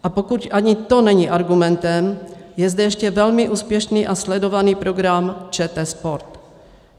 A pokud ani to není argumentem, je zde ještě velmi úspěšný a sledovaný program ČT sport.